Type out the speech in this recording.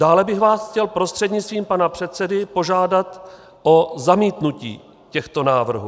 Dále bych vás chtěl prostřednictvím pana předsedy požádat o zamítnutí těchto návrhů.